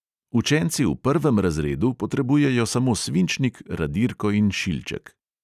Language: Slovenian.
Učenci v prvem razredu potrebujejo samo svinčnik, radirko in šilček.